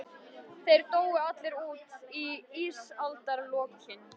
Þeir dóu allir út í ísaldarlokin.